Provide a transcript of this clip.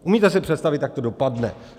Umíte si představit, jak to dopadne?